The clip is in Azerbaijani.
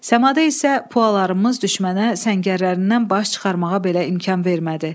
Səmada isə Pualarımız düşmənə səngərlərindən baş çıxarmağa belə imkan vermədi.